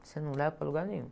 Você não leva para lugar nenhum.